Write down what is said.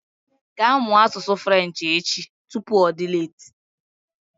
Ga mụọ asụsụ Frenchi echi! Tupu ọ dị leeti